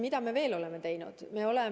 Mida me veel oleme teinud?